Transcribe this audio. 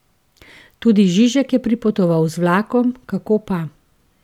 Tudi Žižek je pripotoval z vlakom, kako pa.